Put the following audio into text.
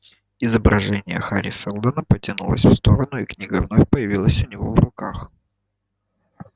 изображение хари сэлдона потянулось в сторону и книга вновь появилась у него в руках